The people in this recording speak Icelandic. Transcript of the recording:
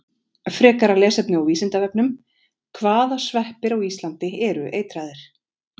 Frekara lesefni á Vísindavefnum: Hvaða sveppir á Íslandi eru eitraðir?